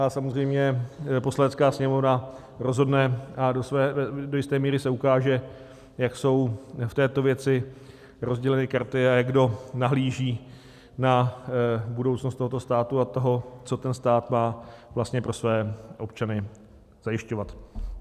A samozřejmě Poslanecká sněmovna rozhodne a do jisté míry se ukáže, jak jsou v této věci rozděleny karty a jak kdo nahlíží na budoucnost tohoto státu a toho, co ten stát má vlastně pro své občany zajišťovat.